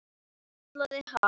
Kallaði hann.